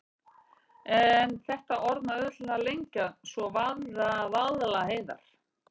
En þetta orð má auðveldlega lengja svo: Vaðlaheiðar.